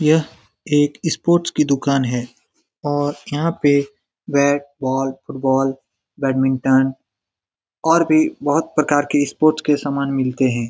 यह एक स्पोर्ट्स कि दुकान है और यहाँ पे बैट बॉल फुटबॉल बैडमिंटन और भी बहुत प्रकार के स्पोर्ट्स के समान मिलते हैं।